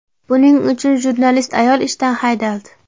Buning uchun jurnalist ayol ishdan haydaldi.